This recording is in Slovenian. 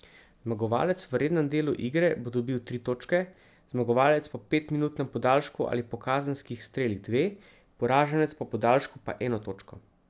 Zmagovalec v rednem delu igre bo dobil tri točke, zmagovalec po petminutnem podaljšku ali po kazenskih strelih dve, poraženec po podaljšku pa eno točko.